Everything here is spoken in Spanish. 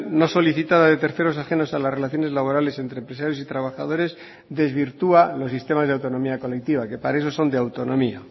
no solicitada de terceros ajenos a las relaciones laborales entre empresarios y trabajadores desvirtúa los sistemas de autonomía colectiva que para eso son de autonomía